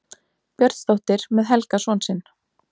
Björnsdóttir með Helga son sinn.